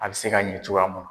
A bɛ se ka ɲɛ cogoya mun na.